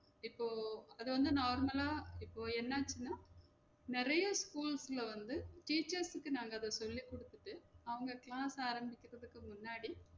இப்போ அது வந்து normal ஆ இப்போ என்னென்னா நெறைய ஸ்கூல்ஸ்ல வந்து teachers க்கு நாங்க அத சொல்லி குடுத்துட்டு அவுங்க class ஆரம்பிக்குறதுக்கு முன்னாடி